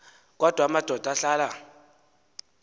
kodwa amadoda ahlala